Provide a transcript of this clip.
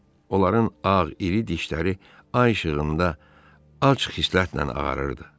Onların ağ iri dişləri ay işığında ac xislətlə ağarırdı.